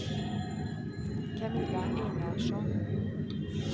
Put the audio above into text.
Camilla Einarsson